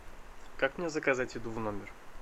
как мне заказать еду в номер